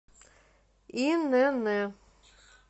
инн